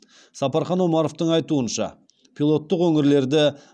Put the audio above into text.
сапархан омаровтың айтуынша пилоттық өңірлерді